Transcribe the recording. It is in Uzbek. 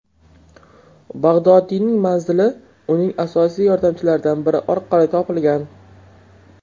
Bag‘dodiyning manzili uning asosiy yordamchilaridan biri orqali topilgan.